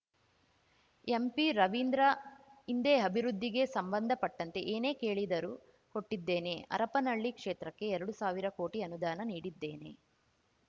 ಎಂಪಿರವೀಂದ್ರ ಹಿಂದೆ ಅಭಿವೃದ್ಧಿಗೆ ಸಂಬಂಧಪಟ್ಟಂತೆ ಏನೇ ಕೇಳಿದರೂ ಕೊಟ್ಟಿದ್ದೇನೆ ಹರಪನಹಳ್ಳಿ ಕ್ಷೇತ್ರಕ್ಕೆ ಎರಡು ಸಾವಿರ ಕೋಟಿ ಅನುದಾನ ನೀಡಿದ್ದೇನೆ